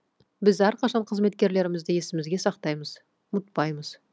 біз әрқашан қызметкерлерімізді есімізге сақтаймыз ұмытпаймыз